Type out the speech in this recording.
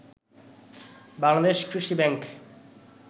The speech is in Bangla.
বাংলাদেশ কৃষি ব্যাংক